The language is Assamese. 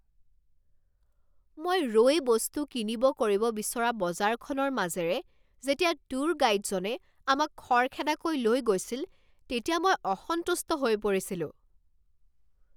মই ৰৈ বস্তু কিনিব কৰিব বিচৰা বজাৰখনৰ মাজেৰে যেতিয়া ট্যুৰ গাইডজনে আমাক খৰখেদাকৈ লৈ গৈছিল তেতিয়া মই অসন্তুষ্ট হৈ পৰিছিলোঁ।